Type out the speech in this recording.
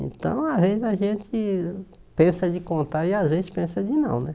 Então, às vezes a gente pensa de contar e às vezes pensa de não, né?